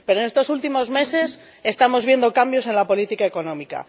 Pero en estos últimos meses estamos viendo cambios en la política económica.